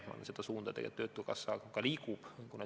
Ma arvan, selles suunas töötukassa ka liigub.